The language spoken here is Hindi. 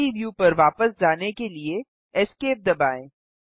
3डी व्यू पर वापस जाने के लिए esc दबाएँ